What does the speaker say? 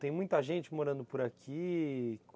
Tem muita gente morando por aqui.